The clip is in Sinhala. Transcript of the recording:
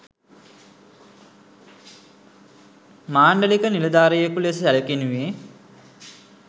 මාන්ඩලික නිළධාරියෙකු ලෙස සැළකෙනුයේ